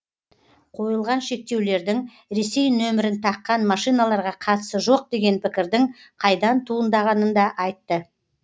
қойылған шектеулердің ресей нөмірін таққан машиналарға қатысы жоқ деген пікірдің қайдан туындағанын да айтты